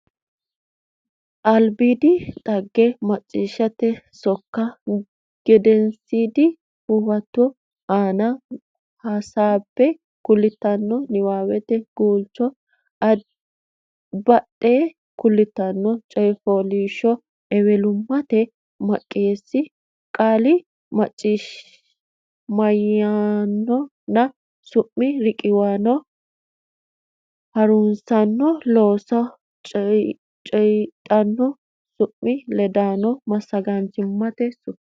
albiidinna dhagge macciishshite sokkase gedensiidi huwato aana hasaabbe kultanno niwaawete guulcho badde kultanno coy fooliishsho ewelimmate maqisaano qaalla mayimmanna su mi riqiwaano ha nurisaano loosonsa coydhanno su mi ledononna massagaanchimmate sufo.